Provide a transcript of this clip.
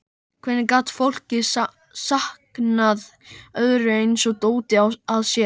Hvernig gat fólk sankað öðru eins dóti að sér?